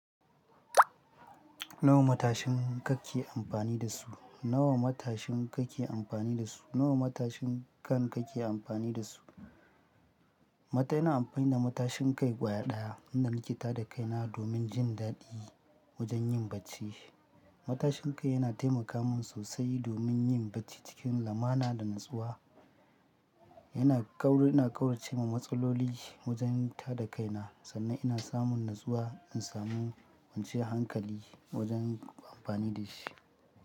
Nawa ne matashin kai da kake amfani da su? Nawa ne matashin kai da kake amfani da su? Ina amfani da matashin kai kwara ɗaya inda nake tada kaina domin jin daɗi wajen yin bacci. Matashin kai yana taimaka min sosai domin yin bacci cikin lamana da natsuwa. Yana kauce ma matsalloli wajen tada kaina sannan ina samun natsuwa in samu wance hankali wajen amfani da shi.